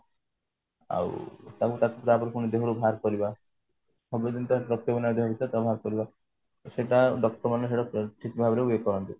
ଆଉ ତାକୁ ପୁଣି ଦେହରୁ ବାହାର କରିବା ବାହାର କରିବା ସେଟା doctor ମାନେ ସେଟା ଠିକ ଭାବରେ ଇଏ କରନ୍ତି